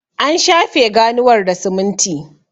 an shafe ganuwar da siminti